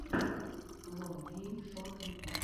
лон гейм шот ютуб